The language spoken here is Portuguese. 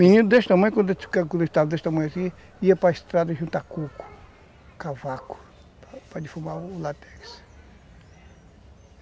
Menino desse tamanho, quando estava desse tamanho, ia para estrada juntar coco, cavaco, para defumar o látex.